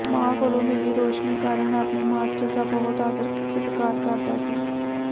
ਮਾਂ ਕੋਲੋ ਮਿਲੀ ਰੌਸ਼ਨੀ ਕਾਰਨ ਆਪਣੇ ਮਾਸਟਰ ਦਾ ਬਹੁਤ ਆਦਰ ਸਤਿਕਾਰ ਕਰਦਾ ਸੀ